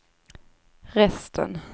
resten